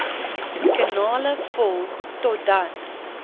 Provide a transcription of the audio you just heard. kanale volg totdat